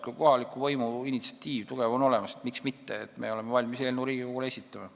Kui kohaliku võimu tugev initsiatiiv on olemas, siis miks mitte – me oleme valmis Riigikogule eelnõu esitama.